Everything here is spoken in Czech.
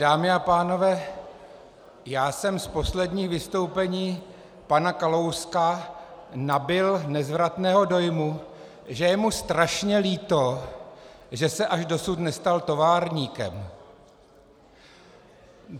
Dámy a pánové, já jsem z posledních vystoupení pana Kalouska nabyl nezvratného dojmu, že je mu strašně líto, že se až dosud nestal továrníkem.